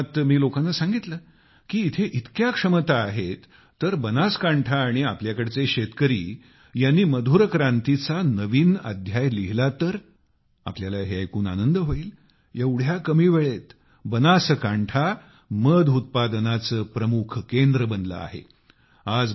त्या कार्यक्रमात मी लोकांना सांगितले की इथे इतक्या क्षमता आहेत तर बनासकांठा आणि आपल्याकडचे शेतकरी यांनी मधुर क्रांतीचा नवीन अध्याय लिहिला तर तुम्हाला हे ऐकून आनंद होईल एवढ्या कमी वेळेत बनासकांठा मध उत्पादनाचे प्रमुख केंद्र बनले आहे